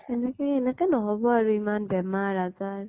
এনেকে এনেকে নহব আৰু ইমান বেমাৰ আজাৰ